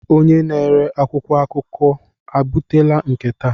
Onye na-ere akwụkwọ akụkọ ebutela nke taa?